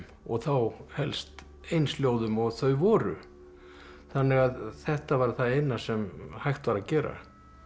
og þá helst eins ljóðum og þau voru þannig að þetta var það eina sem hægt var að gera